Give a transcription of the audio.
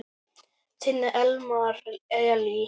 Þinn Elmar Elí.